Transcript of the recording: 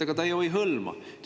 Aga ta ju ei hõlma.